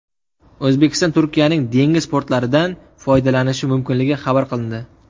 O‘zbekiston Turkiyaning dengiz portlaridan foydalanishi mumkinligi xabar qilindi.